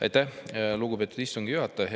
Aitäh, lugupeetud istungi juhataja!